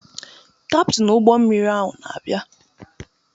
Kaptin ụgbọ mmiri ahụ na-abịa.